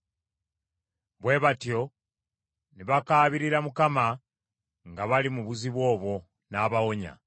Bwe batyo ne bakaabirira Mukama nga bali mu buzibu obwo, n’abawonya.